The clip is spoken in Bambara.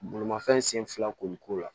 Bolimafɛn sen fila ko la